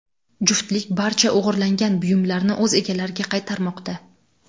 Juftlik barcha o‘g‘irlangan buyumlarni o‘z egalariga qaytarmoqda.